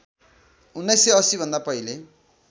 १९८० भन्दा पहिले